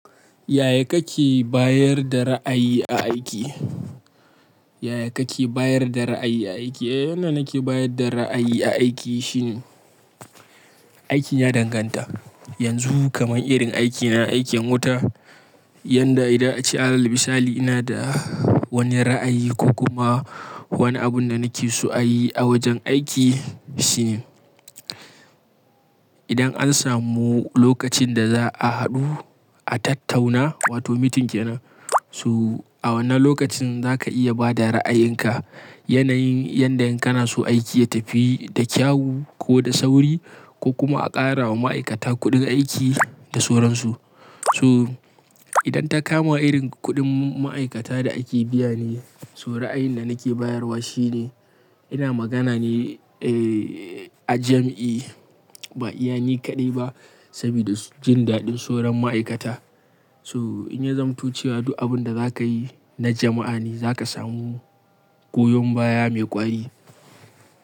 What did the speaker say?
Ya ya kake bayar da ra'ayi a aiki? Yaya kake bayar da ra'ayi a aiki? Eh, yanda nake bayar da ra'ayi a aiki shine, aikin ya danganta. Yanzu kamar irin aikina, aikin wuta, yanda idan ace alal misali ina da wani ra'ayi ko kuma wani abunda nake so a yi a wajen aiki shine, idan an samu lokacin da za'a haɗu a tattauna, wato meeting kenan, so a wannan lokacin za ka iya bada ra'ayinka. Yanayin yanda in kana so aiki ya tafi da kyau ko da sauri ko kuma a ƙara wa ma'aikata kuɗin aiki da soransu. To idan ta kama irin kuɗin ma'aikata da ake biya ne, so ra'ayin da nake bayarwa shine ina magana ne eh a jam'i ba iya ni kaɗai ba sabida jin daɗin sauron ma'aikata. So in ya zamto cewa duk abunda za ka yi na jama'a ne za ka samu goyon baya mai ƙwari.